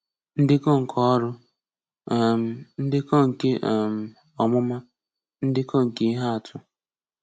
Ndekọ nke órú, um ñdékó nke um ọ̀múmá, ndekọ nke ihe àtù.